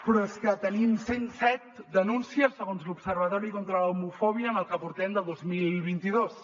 però és que tenim cent set denúncies segons l’observatori contra l’homofòbia en el que portem de dos mil vint dos